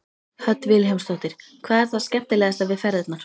Hödd Vilhjálmsdóttir: Hvað er það skemmtilegasta við ferðirnar?